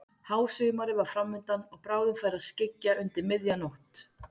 Hásumarið var fram undan og bráðum færi að skyggja undir miðja nótt.